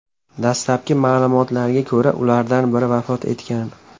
Dastlabki ma’lumotlarga ko‘ra, ulardan biri vafot etgan.